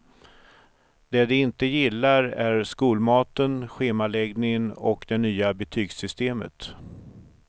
Det de inte gillar är skolmaten, schemaläggningen och det nya betygssystemet.